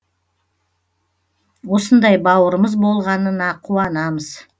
осындай бауырымыз болғанына қуанамыз